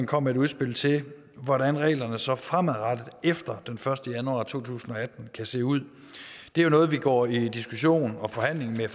kom med et udspil til hvordan reglerne så fremadrettet efter den første januar to tusind og atten kan se ud det er noget vi går i diskussion og forhandling med